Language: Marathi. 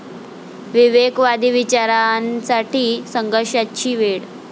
विवेकवादी विचारांसाठी संघर्षाची वेळ'